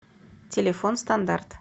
телефон стандарт